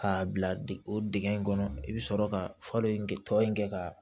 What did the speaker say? K'a bila o dingɛ in kɔnɔ i bɛ sɔrɔ ka falen kɛ tɔ in kɛ ka